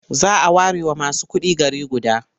A whole city may be reserved for only the rich.